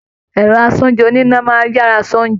Ẹrọ asoúnjẹ̀ oníná máa n yára ṣe oúnjẹ.